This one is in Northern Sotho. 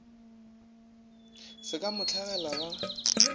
se ka mo hlagela ba